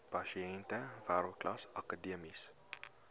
pasiënte wêreldklas akademiese